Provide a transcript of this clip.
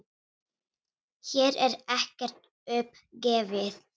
Hér er ekkert upp gefið.